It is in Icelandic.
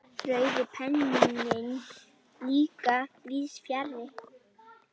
Rauði penninn líka víðs fjarri.